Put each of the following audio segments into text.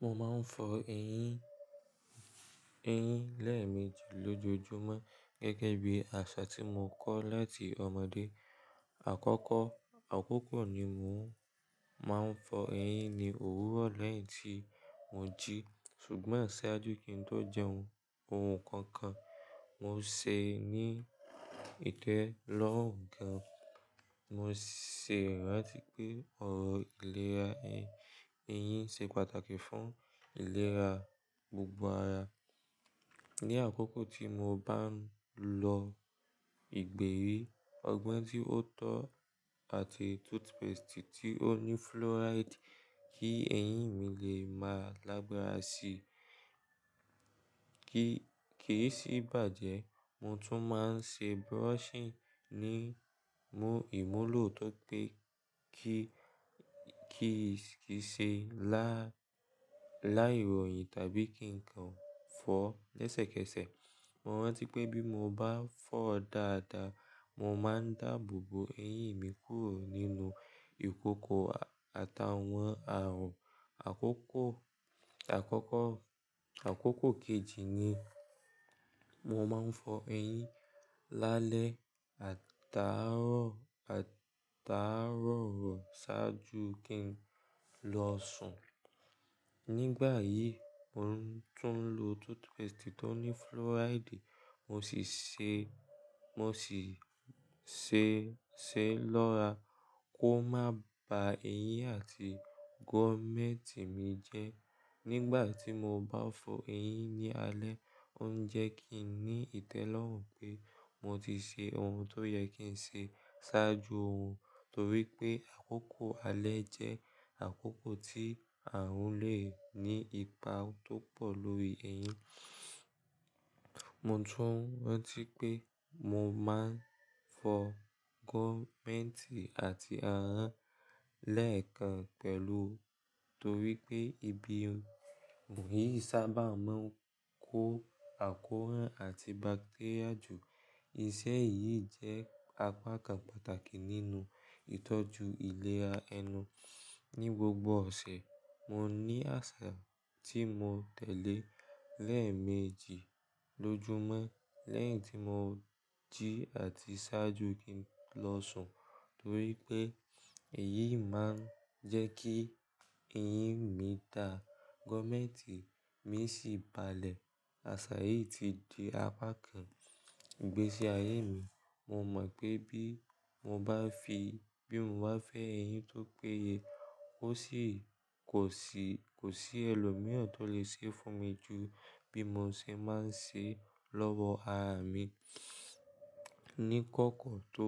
Mo máa ń fọ eyín, eyín lẹ́ẹ̀meji lójoojúmọ́ gẹ́gẹ́ bí àṣà tí mo kọ́ láti ọmọdé. Àkọ́kọ́, àkókò ni mo máa ń fọ eyín ni òwúrọ̀ lẹ́yìn tí mo jí, ṣùgbọ́n ṣáájú kí n tó jẹun ohun kankan. Mo ṣe ní ìtẹ́lọ́rùn kan. Mo ṣèrán latí pé ọ̀rọ̀ ìlera eyín, eyín ṣe pàtàkì fún ìlera gbogbo ara. Ni àkókò tí mo bá ń lo ìgbérí, ọgbọ́n tí ó tọ́ àti toothpaste tí ó ní fluoride kí eyín mi lè máa lágbára sí. Kì í sì bàjẹ́, mo tún máa ń ṣe brushing ní ìmúlò tó pé kí, kíi ṣe lá, láì ròyìn tàbí kí nkan fọ́ lẹ́sẹ̀kẹsẹ̀. Mo rántí pé bí mo bá fọ́ dáadáa, mo máa ń dáàbò bo eyín mi kúrò nínú ìkòkò àtàwọn àrùn. Àkókò, àkókò, àkókò kejì ni mo máa ń fọ eyín lálẹ́ àtàarọ̀, àtàarọ̀ ṣáájú kí n lọ sùn. Nígbà yìí mo ń tún lo toothpaste tó ní fluoride, mo sì ṣe, mo sì ṣe, ṣe lọ́ra kó má ba eyín àti gum mẹ́ẹ̀tì mi jẹ́. Nígbà tí mo bá fọ eyín ní alẹ́, ó ń jẹ kí n ní ìtẹ́lọ́rùn pé mo ti ṣe ohun tó yẹ kí n ṣe ṣáájú òrun. Torí pé àkókò alẹ́ jẹ́ àkókò tí àrùn lè ní ipa tó pọ̀ lórí eyín. Mo tún rántí pé mo máa ń fọ gumment àti ahan lẹ́ẹ̀kan pẹ̀lú, torí pé ibi yìí sábà máa ń kó àkóràn àti bacteria jù. Iṣẹ́ yìí jẹ́ apá kan pàtàkì nínú ìtọ́jú ìlera ẹnu. Ni gbogbo ọ̀sẹ̀, mo ní àṣà tí mo tẹ̀lé lẹ́ẹ̀meji lójúmọ́ lẹ́yìn tí mo jí àti ṣáájú kí n lọ sùn. Torí pé èyí máa ń jẹ́ kí eyín mi dà, gumment mi sì balẹ̀. Àṣà yìí ti di apá kan ìgbésí ayé mi. Mo mọ̀ pé bí mo bá fi, bí mo bá fẹ eyín tó péye, ó sì kò sí, kò sí ẹlòmíràn tó lè ṣe é fún mi ju bí mo ṣe máa ń ṣe lọ́wọ́ ara mi. Ni kókó tó,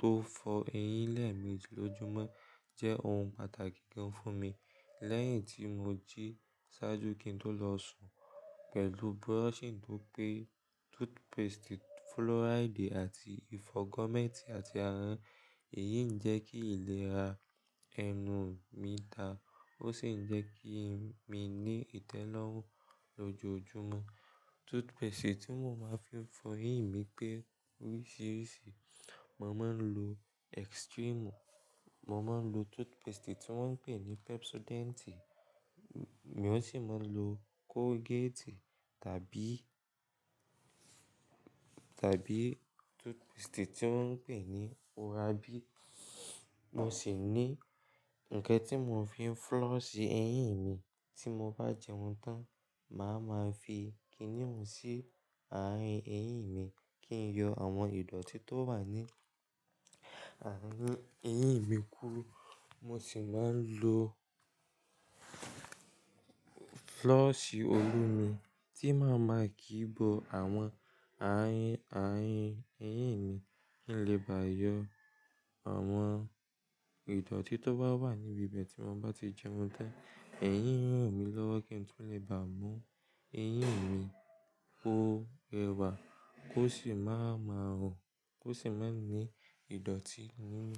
tó fọ eyín lẹ́ẹ̀meji lójúmọ́ jẹ́ ohun pàtàkì kan fún mi. Lẹ́yìn tí mo jí ṣáájú kí n tó lọ sùn pẹ̀lú brushing tó pé, toothpaste fluoride àti ìfọ gumment àti ahon, èyí ń jẹ́ kí ìlera ẹnu mi dà. Ó sì ń jẹ́ kí mi ní ìtẹ́lọ́rùn lójoojúmọ́. Toothpaste tí mo máa ń fi fọ eyín mi pé oríṣiríṣi. Mo máa ń lo Extreme, mo máa ń lo toothpaste tí wọ́n ń pè ní Pepsodent, mo sì máa ń lo Colgate tàbí, tàbí toothpaste tí wọ́n ń pè ní OraB. Mo sì ní ǹkan tí mo fi floss eyín mi tí mo bá jẹun tán. Màá ma fi kíníún sí àárín eyín mi kí n yọ àwọn ìdọ̀tí tó wà ní àárín eyín mi kúro Mo sì máa ń lo floss olómi tí màá ma kí bó àwọn àárín, àárín eyín mi kí n lè bà yọ àwọn ìdọ̀tí tó bá wà níbi be ti mo bá ti jẹun tán. Ẹ̀yin n ràn mí lọ́wọ́ kí n tún lè bà mú eyín mi kó rẹwà ki ó sì má má rùn, kó sì má ní ìdọ̀tí nínú.